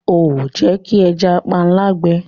Ó ń Jẹ́ kí ẹja panla gbẹ.